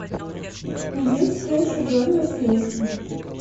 найди встречу бернли с лестером